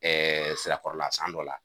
Ɛɛ sirakɔrɔla san dɔ la